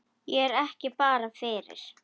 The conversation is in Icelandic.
Er ég ekki bara fyrir?